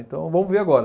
Então, vamos ver agora.